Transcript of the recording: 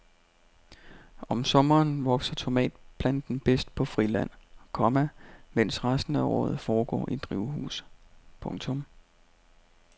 Om sommeren vokser tomatplanten bedst på friland, komma mens resten af året foregår i drivhus. punktum